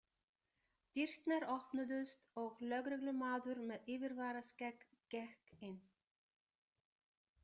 Dyrnar opnuðust og lögreglumaður með yfirvaraskegg gekk inn.